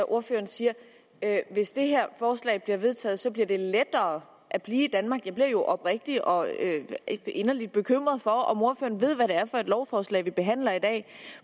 ordføreren siger at hvis det her forslag bliver vedtaget bliver det lettere at blive i danmark jeg bliver oprigtigt og inderligt bekymret for om ordføreren ved hvad det er for et lovforslag vi behandler i dag